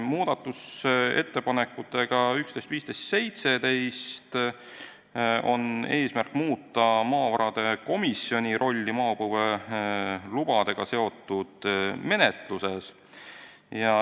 Muudatusettepanekute nr 11, 15 ja 17 eesmärk on muuta maavarade komisjoni rolli maapõuelubadega seotud menetluses.